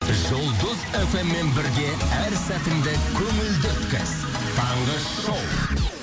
жұлдыз эф эм мен бірге әр сәтіңді көңілді өткіз таңғы шоу